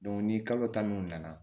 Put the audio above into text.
ni kalo ta min nana